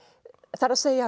það er